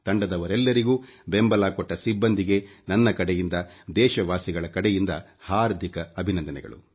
ತಂಡದವರೆಲ್ಲರಿಗೂ ಬೆಂಬಲ ಕೊಟ್ಟ ಸಿಬ್ಬಂದಿಗೆ ನನ್ನ ಕಡೆಯಿಂದ ದೇಶವಾಸಿಗಳ ಕಡೆಯಿಂದ ಹಾರ್ದಿಕ ಅಭಿನಂದನೆಗಳು